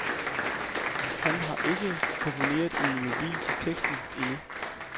Han har ikke komponeret en melodi til teksten endnu.